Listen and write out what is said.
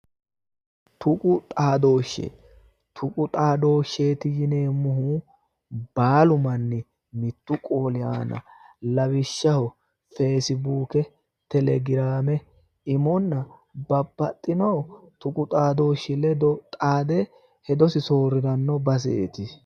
tuqu xaadooshsheeti yineemmohu baalu manni mittu qooli aana lawishshaho fesibuuke telegiraame imonna babbaxino tuqu xadooshshi ledo xaade hedosi soorriranno baseeti.